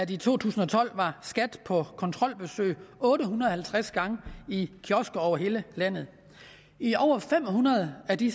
i to tusind og tolv var skat på kontrolbesøg otte hundrede og halvtreds gange i kiosker over hele landet i over fem hundrede af de